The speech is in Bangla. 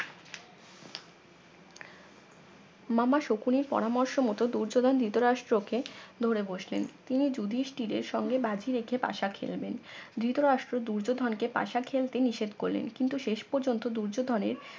মামা শকুনের পরামর্শ মতো দুর্যোধন ধৃতরাষ্ট্র কে ধরে বসলেন তিনি যুধিষ্ঠিরের সঙ্গে বাজি রেখে পাশা খেলবেন ধৃতরাষ্ট্র দুর্যোধনকে পাশা খেলতে নিষেধ করলেন কিন্তু শেষ পর্যন্ত দুর্যোধনের